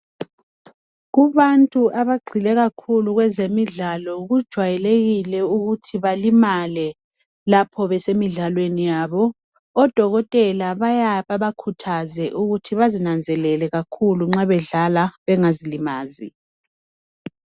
Kubantu abagxile kakhulu kwezemidlalo kujwayelekile ukuthi balimale lapho besemidlalweni yabo odokotela bayake bebakhuthaze ukuthi bazinanzelele nxa bedlala bengazilimazi